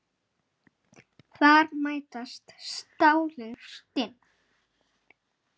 Þar mætast stálin stinn.